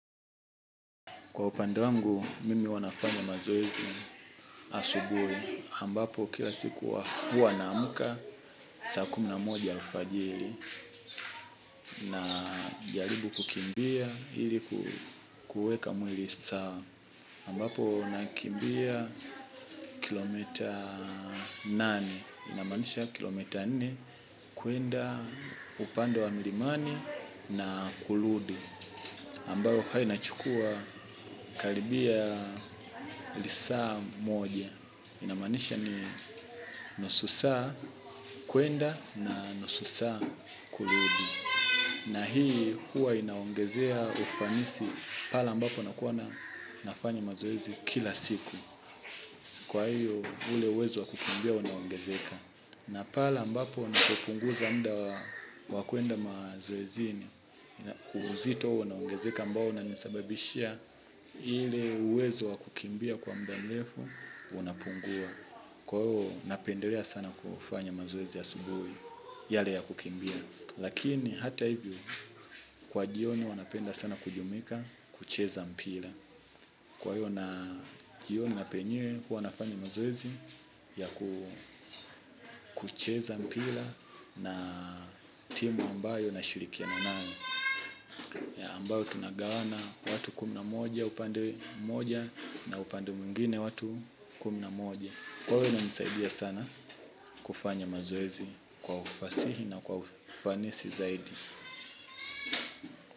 Kwa upande wangu mimi huwa nafanya mazoezi asubuhi ambapo kila siku huwa naamka saa kumi na moja alfajiri na jaribu kukimbia ili kuweka mwili saa ambapo nakimbia kilomita nane inamanisha kilometa nne kuenda upande wa milimani na kurudi ambayo huwa inachukua kalibia lisaa moja. Inamanisha ni nusu saa kuenda na nusu saa kurudi. Na hii huwa inaongezea ufanisi pale ambapo nakuwa na nafanya mazoezi kila siku. Kwa hiyo ule uwezo wa kukimbia unaongezeka. Na pale mbapo nako punguza muda wakuenda mazoezini. Uzito unaoongezeka ambao unanisababishia ile uwezo wa kukimbia kwa mda mrefu unapungua. Kwa hiyo napendelea sana kufanya mazoezi ya asubuhi yale ya kukimbia. Lakini hata hivyo kwa jioni wanapenda sana kujumika kucheza mpira. Kwa hiyo jioni huwa nafanya mazoezi ya kucheza mpira na timu ambayo nashirikiana nayo ambayo tunagawana watu kumi na mmoja upande moja na upande mwingine watu kumi na mmoja. Huwa inanisaidia sana kufanya mazoezi kwa ufasihi na kwa ufanisi zaidi.